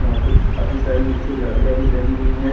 वहाँ पे काफी सारी निचे गाड़िया भी लगी हुई हैं।